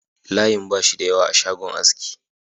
Layin ba shi da yawa a shagon aski